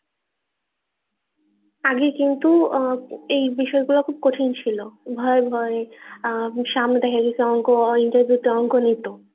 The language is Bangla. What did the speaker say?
আগে কিন্তু আহ এই বিষয় গুলো খুব কঠিন ছিল ভয়ে ভয়ে অ্যাঁ সামনে থেকে কিছু অংক আহ interview তে অংক নিতো